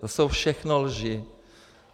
To jsou všechno lži.